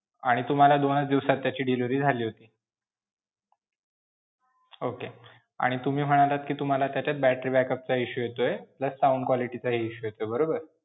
आणि तुम्हाला दोनच दिवसात त्याची delivery झाली होती. okay आणि तुम्ही म्हणालात कि तुम्हाला त्याच्यात battery backup चा issue येतोय plus sound quality चा issue येतोय बरोबर?